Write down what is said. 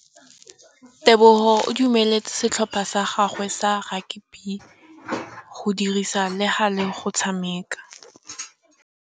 Tebogô o dumeletse setlhopha sa gagwe sa rakabi go dirisa le galê go tshameka.